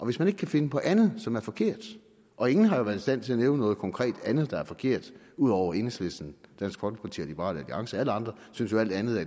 hvis man ikke kan finde på andet som er forkert og ingen har jo været i stand til at nævne noget konkret andet der er forkert ud over enhedslisten dansk folkeparti og liberal alliance alle andre synes jo alt andet